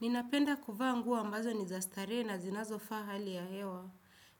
Ninapenda kuvaa nguo ambazo ni za starehe na zinazofaa hali ya hewa,